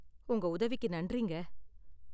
உங்க உதவிக்கு நன்றிங்க.